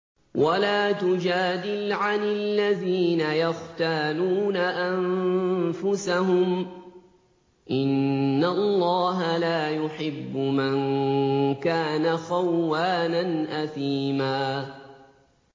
وَلَا تُجَادِلْ عَنِ الَّذِينَ يَخْتَانُونَ أَنفُسَهُمْ ۚ إِنَّ اللَّهَ لَا يُحِبُّ مَن كَانَ خَوَّانًا أَثِيمًا